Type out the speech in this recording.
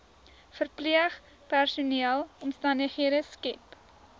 verpleegpersoneel omstandighede skep